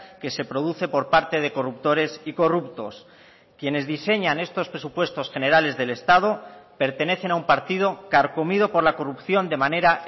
que se produce por parte de corruptores y corruptos quienes diseñan estos presupuestos generales del estado pertenecen a un partido carcomido por la corrupción de manera